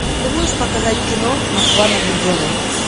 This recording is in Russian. ты можешь показать кино москва на гудзоне